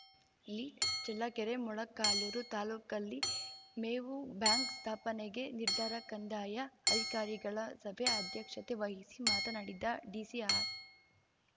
lead Challakere Molakaluru ತಾಲೂಕಲ್ಲಿ ಮೇವು bank ಸ್ಥಾಪನೆಗೆ ನಿರ್ಧಾರ ಕಂದಾಯ ಅಧಿಕಾರಿಗಳ ಸಭೆ ಅಧ್ಯಕ್ಷತೆ ವಹಿಸಿ ಮಾತನಾಡಿದ ಡಿಸಿ ಆರ್‌